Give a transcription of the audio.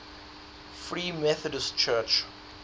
free methodist church